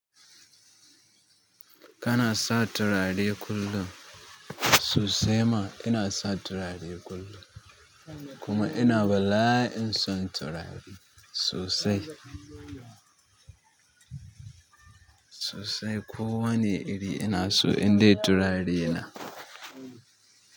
Kana sa turare kullum? Sosai ma inasa turare kullum kuma ina bala'in son turare sosai. Sosai. Ko wane iri ina so in dai turare na.